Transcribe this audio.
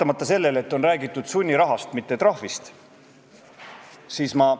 Väga paljudes kohtades oleme hakanud saama ka ainult ingliskeelset teenindust, kusjuures üldse mitte korralikus inglise keeles.